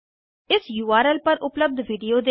इस उर्ल पर उपलब्ध विडिओ देखें